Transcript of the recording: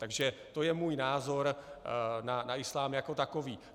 Takže to je můj názor na islám jako takový.